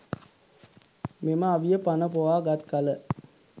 මෙම අවිය පණ පොවා ගත් කල